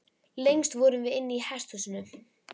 Lengst vorum við inni í hesthúsinu.